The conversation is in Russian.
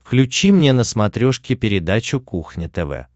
включи мне на смотрешке передачу кухня тв